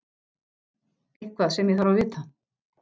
Eitthvað sem ég þarf að vita.